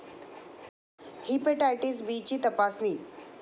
hepatitis ब ची तपासणी